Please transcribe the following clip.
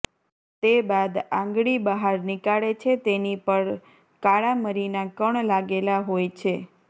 તે બાદ આંગળી બહાર નીકાળે છે તેની પર કાળામરીના કણ લાગેલા હોય છે